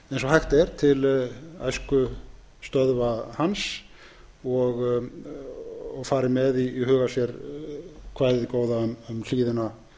hægt er til æskustöðva hans og fari með í huga sér kvæðið um hlíðina